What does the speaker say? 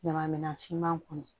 Ɲama minan finman kɔnɔ